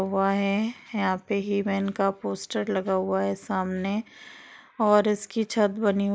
वह है। यहाँ पे हीमेन का पोस्टर लगा हुआ है सामने और इसकी छत बनी --